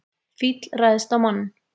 Fíll ræðst á mann